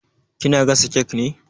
Ki na gasa kek ne?